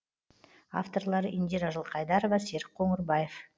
авторлары индира жылқайдарова серік қоңырбаев